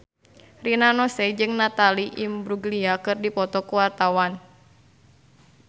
Rina Nose jeung Natalie Imbruglia keur dipoto ku wartawan